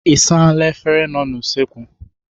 Ị saala efere nọ n'usekwu?